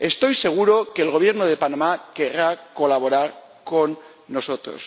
Estoy seguro de que el Gobierno de Panamá querrá colaborar con nosotros.